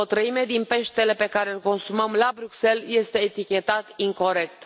O treime din peștele pe care îl consumăm la Bruxelles este etichetat incorect.